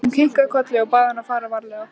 Hún kinkaði kolli og bað hann að fara varlega.